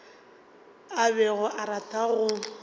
a bego a rata go